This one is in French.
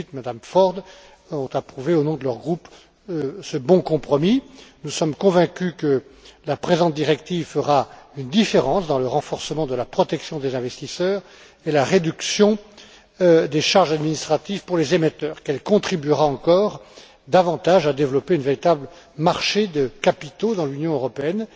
Schmidt, M me Ford qui ont approuvé au nom de leur groupe ce bon compromis. Nous sommes convaincus que la présente directive fera une différence dans le renforcement de la protection des investisseurs et la réduction des charges administratives pour les émetteurs, qu'elle contribuera encore davantage à développer un véritable marché de capitaux dans l'Union européenne.